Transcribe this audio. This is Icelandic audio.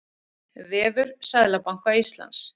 Vefur Seðlabanka Íslands.